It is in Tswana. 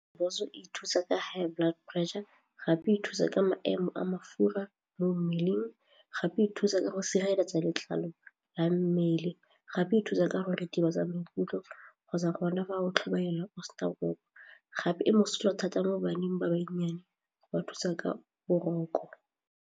Rooibos e thusa ka high blood pressure gape e thusa ka maemo a mafura mo mmeleng gape e thusa ka go sireletsa letlalo la mmele gape e thusa ka gore ritibatsa maikutlo kgotsa gona fa o tlhobaela gape e mosola thata mo baneng ba banyane go ba thusa ka boroko.